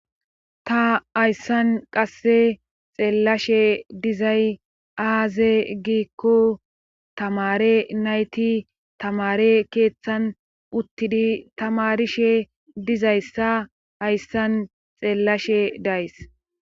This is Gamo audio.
Ta hayssan qasse xeellashe dizay aaze giikko tamare nayti tamare keeththan uttidi tamarishe dizayssa hayssan xeellashe days.